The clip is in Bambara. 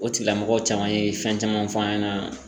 O tigilamɔgɔ caman ye fɛn caman fɔ an ɲɛna